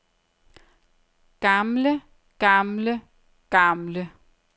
gamle gamle gamle